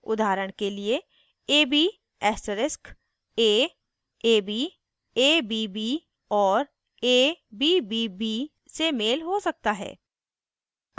उदाहरण के लिए ab asterisk a ab abb और abbb से मेल हो सकता है